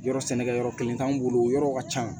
Yɔrɔ sɛnɛkɛ yɔrɔ kelen t'anw bolo yɔrɔw ka ca